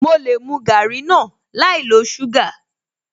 Mo lè mu garri náà láì lo suga